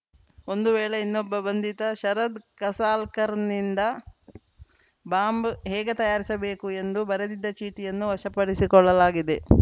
ಇದೇ ವೇಳೆ ಇನ್ನೊಬ್ಬ ಬಂಧಿತ ಶರದ್‌ ಕಸಾಲ್ಕರ್‌ನಿಂದ ಬಾಂಬ್‌ ಹೇಗೆ ತಯಾರಿಸಬೇಕು ಎಂದು ಬರೆದಿದ್ದ ಚೀಟಿಯನ್ನು ವಶಪಡಿಸಿಕೊಳ್ಳಲಾಗಿದೆ